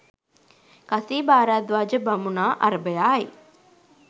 කසීභාරද්වාජ බමුණා අරභයායි.